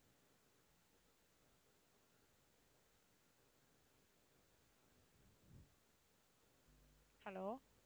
hello